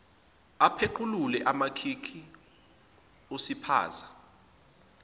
apequlule amakhikhi usiphaza